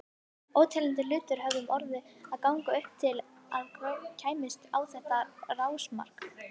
Óteljandi hlutir höfðu orðið að ganga upp til að ég kæmist á þetta rásmark.